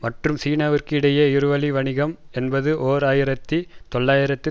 மற்றும் சீனாவிற்கு இடையே இருவழி வணிகம் என்பது ஓர் ஆயிரத்தி தொள்ளாயிரத்து